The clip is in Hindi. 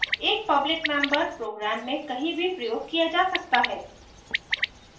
एक public member program में कहीं भी प्रयोग किया जा सकता है